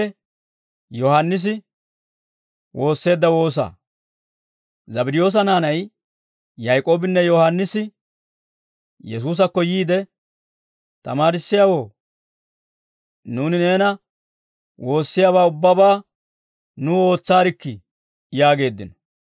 Zabddiyoosa naanay Yaak'oobinne Yohaannisi Yesuusakko yiide, «Tamaarissiyaawoo, nuuni neena woossiyaabaa ubbabaa nuw ootsaarikkii» yaageeddino.